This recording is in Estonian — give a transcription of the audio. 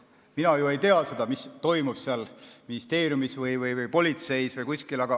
No mina ju ei tea, mis toimub ministeeriumis, politseis või kuskil.